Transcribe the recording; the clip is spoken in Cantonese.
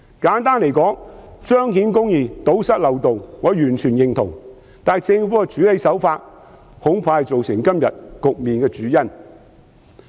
簡單而言，我完全認同彰顯公義、堵塞漏洞，但政府的處理手法恐怕是造成今天局面的主因。